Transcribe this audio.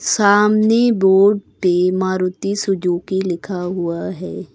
सामने बोर्ड पे मारुति सुजुकी लिखा हुआ है।